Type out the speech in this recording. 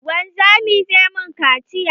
Wanzamin zai min kaciya